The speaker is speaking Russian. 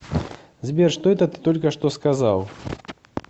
сбер что это ты только что сказал